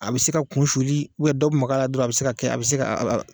A bɛ se ka kun suli dɔ bɛ maga a la dɔrɔn a bɛ se ka kɛ a bɛ se ka